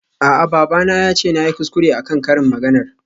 A'a babana yace nayi kuskure akan karin maganar.